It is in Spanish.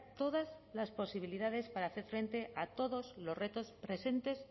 todas las posibilidades para hacer frente a todos los retos presentes